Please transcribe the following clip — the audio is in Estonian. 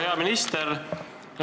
Hea minister!